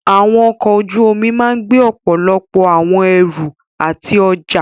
Àwọn ọkọ̀ ojú omi máà gbé ọ̀pọ̀lọpọ̀ àwọn ẹrù àti ọjá.